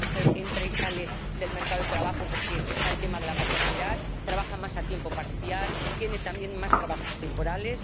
La mujer entra y sale del mercado de trabajo, porque está el tema de la maternidad, trabaja más a tiempo parcial, tiene también más trabajos temporales.